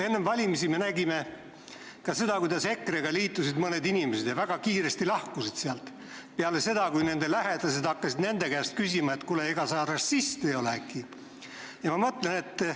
Enne valimisi me nägime ka seda, kuidas EKRE-ga liitusid mõned inimesed ja väga kiiresti lahkusid sealt peale seda, kui nende lähedased hakkasid nende käest küsima, et kuule, ega sa äkki rassist ei ole.